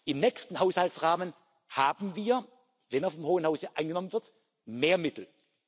Im nächsten Haushaltsrahmen haben wir, wenn das im Hohen Haus angenommen wird, mehr Mittel.